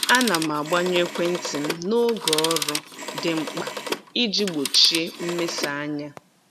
A na m agbanyụ ekwentị m n'oge ọrụ dị mkpa iji gbochie mmesa anya.